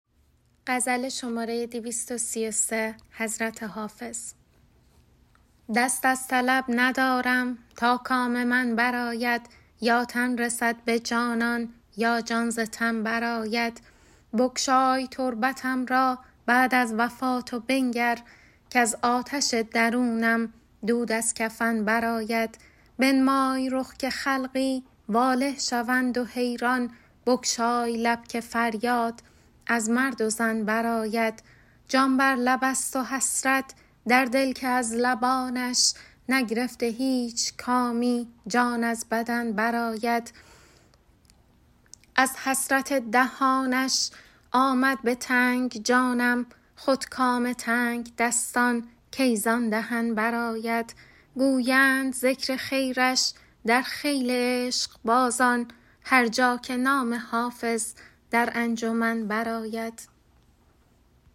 دست از طلب ندارم تا کام من برآید یا تن رسد به جانان یا جان ز تن برآید بگشای تربتم را بعد از وفات و بنگر کز آتش درونم دود از کفن برآید بنمای رخ که خلقی واله شوند و حیران بگشای لب که فریاد از مرد و زن برآید جان بر لب است و حسرت در دل که از لبانش نگرفته هیچ کامی جان از بدن برآید از حسرت دهانش آمد به تنگ جانم خود کام تنگدستان کی زان دهن برآید گویند ذکر خیرش در خیل عشقبازان هر جا که نام حافظ در انجمن برآید